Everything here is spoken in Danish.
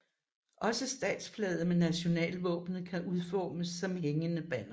Også statsflaget med nationalvåbenet kan udformes som hængende banner